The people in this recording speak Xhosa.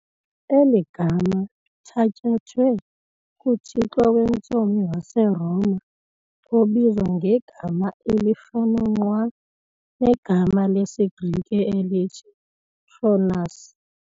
Eli gama lithatyathwe kuthixo wentsomi waseRoma obizwa ngegama elifana nqwa negama lesiGrike elithi Cronus.